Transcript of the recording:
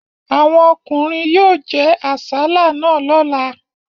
Àwọn ọkùnrin yóò jẹ àsálà náà lọ́la.